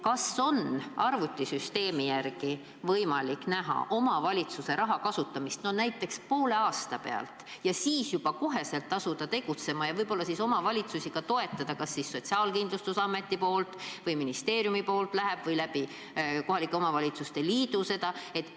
Kas on arvutisüsteemi järgi võimalik näha omavalitsuses raha kasutamist, näiteks poole aasta pealt, ja siis juba kohe asuda tegutsema ja võib-olla siis omavalitsusi ka toetada, et kas Sotsiaalkindlustusamet või ministeerium läheb appi või kohalike omavalitsuste liidu kaudu?